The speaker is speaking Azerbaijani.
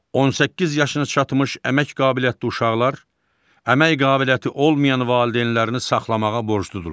18 yaşına çatmış əmək qabiliyyətli uşaqlar əmək qabiliyyəti olmayan valideynlərini saxlamağa borcludurlar.